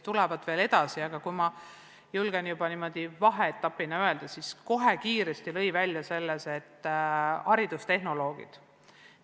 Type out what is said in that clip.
Aga vaheetapina julgen ma öelda, et kohe ja kiiresti tuli välja haridustehnoloogide roll.